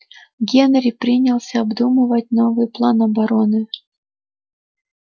генри принялся обдумывать новый план обороны